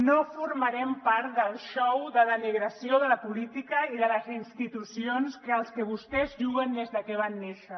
no formarem part del xou de denigració de la política i de les institucions a què vostès juguen des de que van néixer